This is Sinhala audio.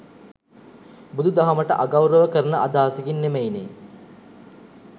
බුදු දහමට අගෞරව කරන අදහසකින් නෙමෙයි නේ.